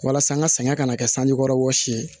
Walasa n ka sɛgɛn ka na kɛ sanji kɔrɔ wɔsi ye